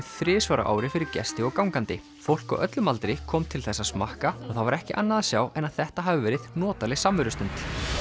þrisvar á ári fyrir gesti og gangandi fólk á öllum aldri kom til þess að smakka og það var ekki annað að sjá en þetta hafi verið notaleg samverustund